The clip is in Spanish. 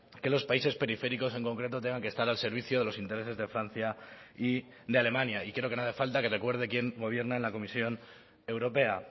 que los países periféricos en concreto tengan que estar al servicio de los intereses de francia y de alemania y creo que no hace falta que recuerde quién gobierna en la comisión europea